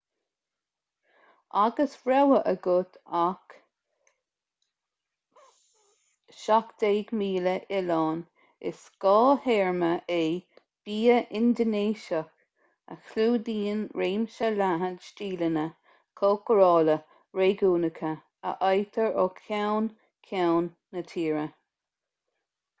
agus rogha agat as 17,000 oileán is scáth-théarma é bia indinéiseach a chlúdaíonn réimse leathan stíleanna cócarála réigiúnacha a fhaightear ó cheann ceann na tíre